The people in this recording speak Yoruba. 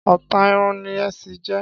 Ọ̀tá irun ni èṣí irun jẹ́.